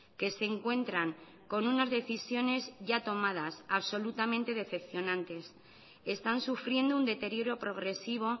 que se encuentran con unas decisiones ya tomadas absolutamente decepcionantes están sufriendo un deterioro progresivo